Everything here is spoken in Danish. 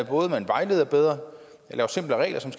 både at vejlede bedre lave simplere regler som